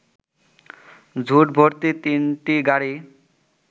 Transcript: ঝুট ভর্তি তিনটি গাড়ি